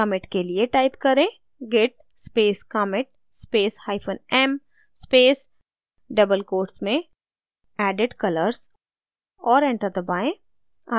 commit के लिए type करें: git space commit space hyphen m space double quotes में added colors और enter दबाएँ